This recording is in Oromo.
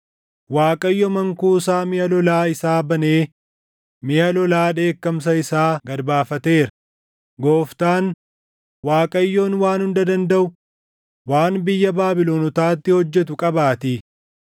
Waaqayyo mankuusaa miʼa lolaa isaa banee miʼa lola dheekkamsa isaa gad baafateera; Gooftaan, Waaqayyoon Waan Hunda Dandaʼu waan biyya Baabilonotaatti hojjetu qabaatii.